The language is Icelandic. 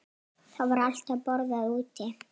Það var alltaf borðað úti.